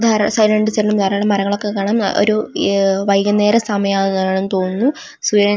ധാരാളം സൈ ധാരാളം മരങ്ങളൊക്കെ കാണാം ഒരു ഇ വൈകുന്നേര സമായാണെന്ന് തോന്നുന്നു--